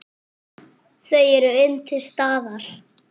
Þau eru enn til staðar.